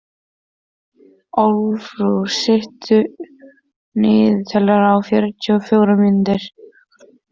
Arnúlfur, stilltu niðurteljara á fjörutíu og fjórar mínútur.